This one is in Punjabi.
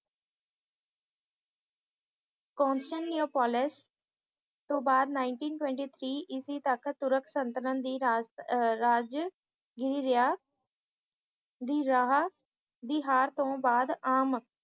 ਕੋਂਸਟੇਂਟਨੋਪੋਲਿਸ ਤੋਂ ਬਾਅਦ nineteen twenty three ਇਸਵੀਂ ਤੱਕ ਤੁਰਕ ਸਲਤਨਤ ਦੀ ਰਾਜ ਰਾਜਨਗੀਰੀ ਰਿਹਾ ਦੀ ਰਿਹਾ ਦੀ ਹਾਰ ਤੋਂ ਬਾਅਦ ਆਮ